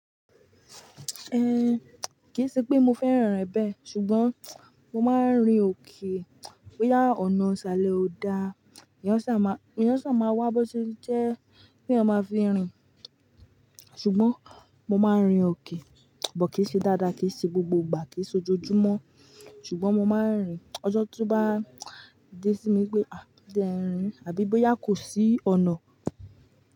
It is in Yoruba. Ehn, kìí ṣe pé mo fẹ́ràn rẹ̀ bẹ́ẹ̀, ṣùgbọ́n mo máa ń rin òkè. Bóyá ọ̀nà isalẹ ó da, eeyán sà má, eeyán sà máa wá bó ti jẹ́ pé yan máa fi rin. Ṣùgbọ́n mo máa ń rin òkè, bọ̀ kìí ṣe dáadáa, kì í ṣe gbogbo ìgbà, kì í ṣe ojoojúmọ́. Ṣùgbọ́n mo máa ń rìn, ọjọ́ tó bá dé sí mi pé, "à dé ẹ rìn", àbí bóyá kò sí ọ̀nà.